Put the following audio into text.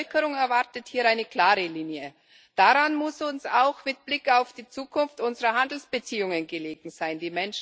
Die Bevölkerung erwartet hier eine klare Linie. Daran muss uns auch mit Blick auf die Zukunft unserer Handelsbeziehungen gelegen sein.